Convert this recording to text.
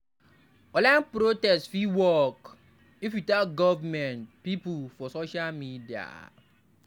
Online protest fit work if we tag government pipo for social media.